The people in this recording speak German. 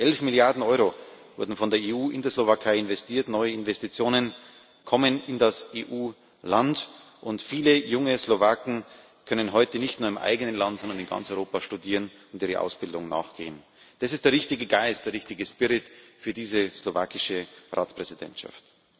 11 Milliarden Euro wurden von der EU in der Slowakei investiert, neue Investitionen kommen in das EU Land, und viele junge Slowaken können heute nicht nur im eigenen Land, sondern in ganz Europa studieren und ihrer Ausbildung nachgehen. Das ist der richtige Geist, der richtige Spirit für diese slowakische Ratspräsidentschaft.